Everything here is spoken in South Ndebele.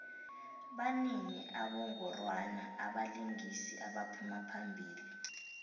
banini abongorwana babalingisi abaphuma phambili